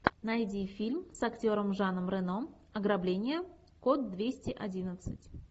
найди фильм с актером жаном рено ограбление код двести одиннадцать